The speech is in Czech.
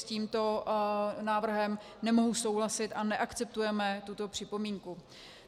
S tímto návrhem nemohu souhlasit a neakceptujeme tuto připomínku.